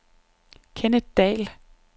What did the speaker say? Kenneth Dall